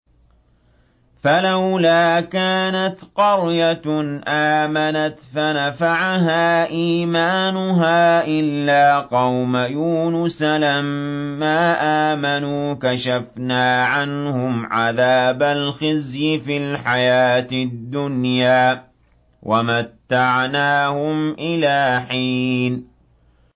فَلَوْلَا كَانَتْ قَرْيَةٌ آمَنَتْ فَنَفَعَهَا إِيمَانُهَا إِلَّا قَوْمَ يُونُسَ لَمَّا آمَنُوا كَشَفْنَا عَنْهُمْ عَذَابَ الْخِزْيِ فِي الْحَيَاةِ الدُّنْيَا وَمَتَّعْنَاهُمْ إِلَىٰ حِينٍ